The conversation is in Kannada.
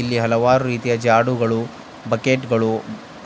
ಇಲ್ಲಿ ಹಲವಾರು ರೀತಿಯ ಜಾಡುಗಳು ಬಕೆಟ್ ಗಳು